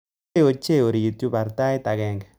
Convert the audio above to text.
Labkei ochei orit yuu baar tait agenge